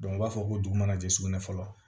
u b'a fɔ ko dugu mana jɛ sugunɛ fɔlɔ